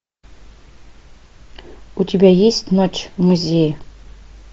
у тебя есть ночь в музее